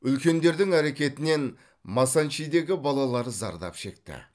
үлкендердің әрекетінен масанчидегі балалар зардап шекті